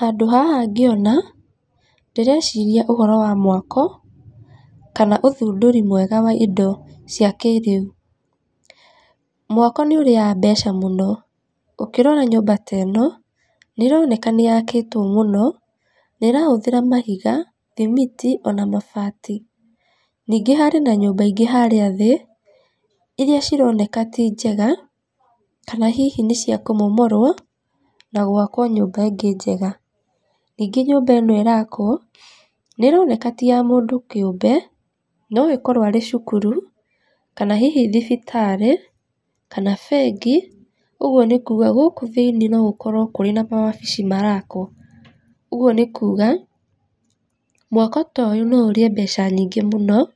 Handũ haha ngĩona ndĩreciria ũhoro wa mwako, kana ũthundũri mwega wa indo cia kĩrĩu, mwako nĩ ũrĩaga mbeca mũno, ũkĩrora nyũmba ta ĩno, nĩ ĩroneka nĩ yakĩtwo mũno, nĩ ĩrahũthĩra mahiga, thimiti, ona mabati. Ningĩ harĩ na nyũmba ingĩ harĩa thĩ, iria cironeka ti njega, kana hihi nĩ cia kũmomorwo, na gwakwo nyũmba ĩngĩ njega. Ningĩ nyũmba ĩno ĩrakwo, nĩ ĩroneka ti ya mũndũ kĩũmbe, no ĩkorwo arĩ cukuru kana hihi thibitarĩ, kana bengi, ũguo nĩ kuga gũkũ no gũkorwo kũrĩ na mawabici marakwo. Ũguo nĩ kuga mwako ta ũyũ no ũrĩe mbeca nyingĩ mũno,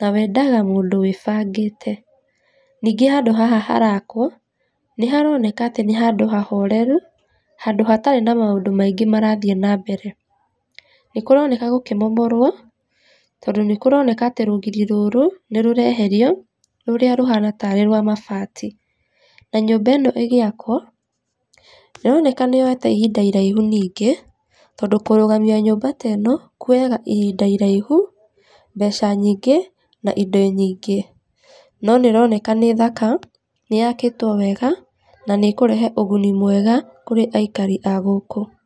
na wendaga mũndũ wĩbangĩte. Ningĩ handũ haha harakwo, nĩ haroneka atĩ nĩ handũ hahoreru, handũ hatarĩ na maũndũ maingĩ marathiĩ na mbere. Nĩ kũroneka gũkĩmomorwo, tondũ nĩ kũroneka atĩ rũgiri rũrũ, nĩ rũreherio, rũrĩa rũhana tarĩ rwa mabati, na nyũmba ĩno ĩgĩakwo, nĩ ĩroneka nĩ yoete ihinda iraihu ningĩ, tondũ kũrũgamia nyũmba teno, kuoyaga ihinda iraihu, mbeca nyingĩ, na indo nyingĩ, no nĩ ũroneka nĩ thaka, nĩ yakĩtwo wega, na nĩ ĩkũrehe ũguni mwega kũrĩ aikari a gũkũ.